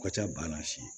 Ka ca banna si